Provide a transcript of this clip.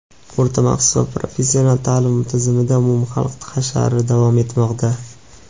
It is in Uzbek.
o‘rta maxsus va professional taʼlim tizimida umumxalq hashari davom etmoqda.